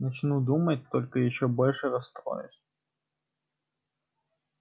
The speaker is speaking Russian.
начну думать только ещё больше расстроюсь